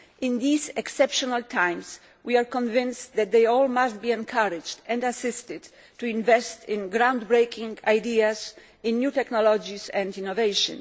In these exceptional times, we are convinced that they must all be encouraged and assisted to invest in ground breaking ideas, in new technologies and in innovation.